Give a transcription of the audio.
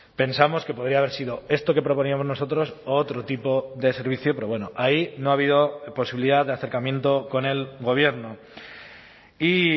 pensamos que podría haber sido esto que proponíamos nosotros otro tipo de servicio pero bueno ahí no ha habido posibilidad de acercamiento con el gobierno y